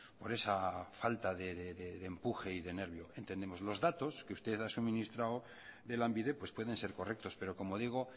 por esa falta de empuje y de nervio entendemos los datos que usted ha suministrado de lanbide pueden ser correctos pero como digo